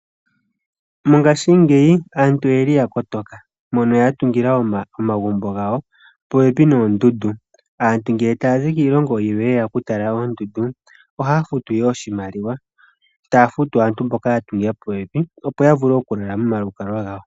Mongashingeyi aantu oye li ya kotoka, mpono ya tungila omagumbo gawo popepi noondundu. Aantu ngele tayazi kiilongo yilwe yeya okutala oondundu, ohaya futu ihe oshimaliwa, taya futu aantu mboka ya tungila popepi, opo yavule okulala momalukalwa gawo.